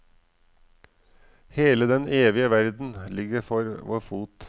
Hele den evige verden ligger for vår fot.